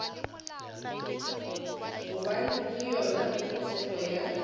gobane ke yona tshepo ya